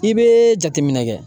I bɛ jateminɛ kɛ.